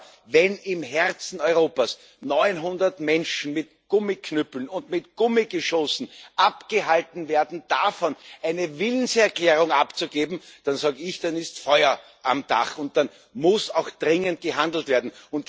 Aber wenn im Herzen Europas 900 Menschen mit Gummiknüppeln und mit Gummigeschossen davon abgehalten werden, eine Willenserklärung abzugeben, dann sage ich Dann ist Feuer am Dach, und dann muss auch dringend gehandelt werden.